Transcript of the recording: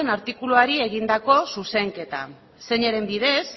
artikuluari egindako zuzenketa zeinaren bidez